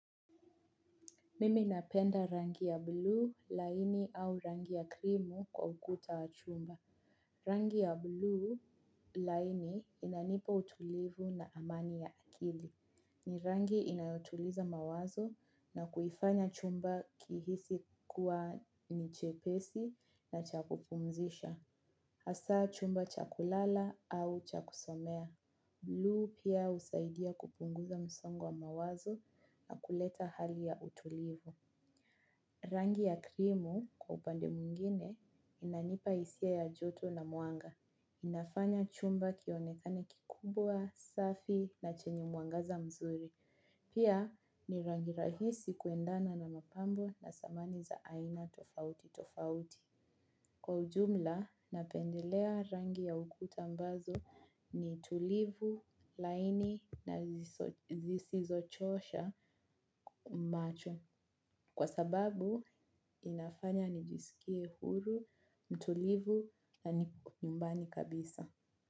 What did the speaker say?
Mimi napenda rangi ya bluu laini au rangi ya krimu kwa ukuta wa chumba. Rangi ya bluu laini inanipa utulivu na amani ya akili. Ni rangi inayotuliza mawazo na kuifanya chumba kihisi kuwa ni chepesi na cha kupumzisha. Hasa chumba cha kulala au cha kusomea. Bluu pia husaidia kupunguza msongo wa mawazo na kuleta hali ya utulivu. Rangi ya krimu kwa upande mwingine inanipa hisia ya joto na mwanga. Inafanya chumba kionekane kikubwa, safi na chenye mwangaza mzuri. Pia ni rangi rahisi kuendana na mapambo na samani za aina tofauti tofauti. Kwa ujumla, napendelea rangi ya ukuta ambazo ni tulivu, laini na zisizochosha macho. Kwa sababu inafanya nijisikie huru, mtulivu na nyumbani kabisa.